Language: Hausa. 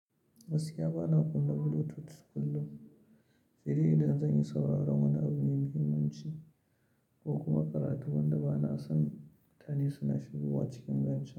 Gaskiya ba na kunna Bluetooth kullum, se dai idan zan yi sauraron wani abu mai muhimmanci ko kuma karatu wanda ba na son mutane suna shigowa cikin ganci.